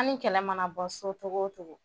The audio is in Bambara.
An ni kɛlɛ mana bɔ so cogo o cogo